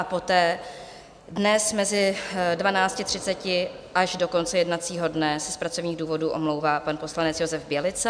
A poté dnes mezi 12.30 až do konce jednacího dne se z pracovních důvodů omlouvá pan poslanec Josef Bělica.